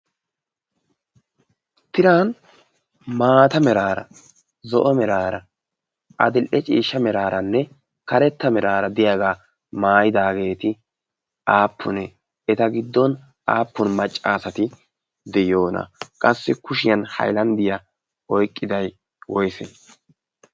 tiran maata miraara zo'o meraara adil"e ciishsha meraaranne karetta miraara deyaagaa maayidaageeti aappunee eta giddon aappun maccaasati de7yoona qassi kushiyan hailanddiyaa oyqqiday woyse?